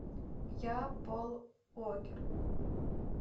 я пол уокер